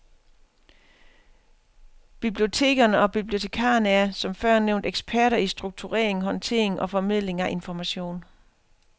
Bibliotekerne og bibliotekarerne er, som før nævnt, eksperter i strukturering, håndtering og formidling af information.